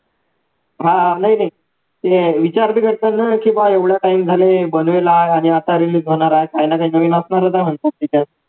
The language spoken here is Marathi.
हा नाही नाही ते विचार करणार नाही की बा एवढा time झाला आहे काही ना काही जमीन आसमानाचा म्हणतात तिथे